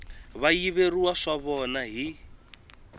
va yiveriwa swa vona hi